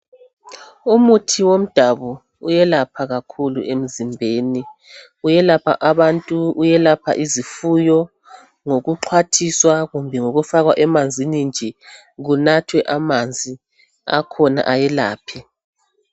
Umuthi womdabu uwelapha kakhulu emzimbeni uwelapha abantu uwelapha izifuyo ngokuqwathiswa kumbe ngokufakwa emanzini nje kunathwe amanzi akhona ayelaphe